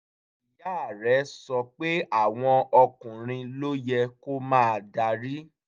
ìyá rẹ̀ sọ pé àwọn ọkùnrin ló yẹ kó máa darí